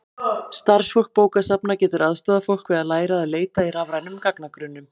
starfsfólk bókasafna getur aðstoðað fólk við að læra að leita í rafrænum gagnagrunnum